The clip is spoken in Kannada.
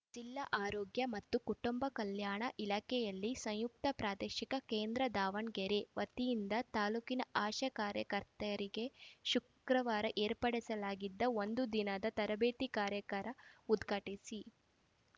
ಜಿಲ್ಲಾ ಆರೋಗ್ಯ ಮತ್ತು ಕುಟುಂಬ ಕಲ್ಯಾಣ ಇಲಾಖೆಯಲ್ಲಿ ಸಂಯುಕ್ತ ಪ್ರಾದೇಶಿಕ ಕೇಂದ್ರ ದಾವಣಗೆರೆ ವತಿಯಿಂದ ತಾಲೂಕಿನ ಆಶಾ ಕಾರ್ಯಕರ್ತೆಯರಿಗೆ ಶುಕ್ರವಾರ ಏರ್ಪಡಿಸಲಾಗಿದ್ದ ಒಂದು ದಿನದ ತರಬೇತಿ ಕಾರ್ಯಾಗಾರ ಉದ್ಘಾಟಿಸಿ